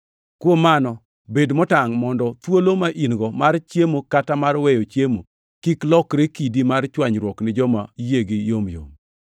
Kuom mano, bed motangʼ mondo thuolo ma in-go mar chiemo kata mar weyo chiemo kik lokre kidi mar chwanyruok ni joma yiegi yomyom.